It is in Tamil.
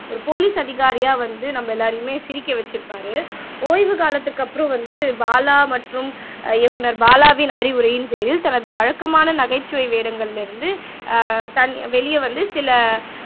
ஒரு போலீஸ் அதிகாரியா வந்து நம்ம எல்லாரையுமே சிரிக்க வச்சிருப்பாரு ஓய்வு காலத்துக்கு அப்புறம் வந்து பாலா மற்றும் அஹ் இயக்குனர் பாலாவின் அறிவுரையின் பேரில் தனது வழக்கமான நகைச்சுவை வேடங்கள்ல இருந்து ஆஹ் தன் வெளிய வந்து சில